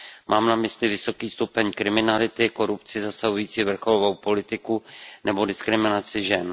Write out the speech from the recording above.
Mám na mysli vysoký stupeň kriminality, korupci zasahující vrcholovou politiku nebo diskriminaci žen.